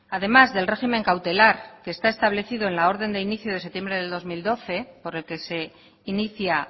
además del régimen cautelar que está establecido en la orden de inicio de septiembre del dos mil doce por el que se inicia